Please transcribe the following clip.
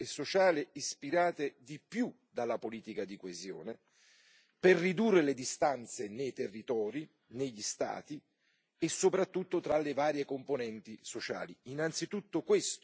economico e sociale, ispirate di più dalla politica di coesione, per ridurre le distanze nei territori, negli Stati e soprattutto tra le varie componenti sociali.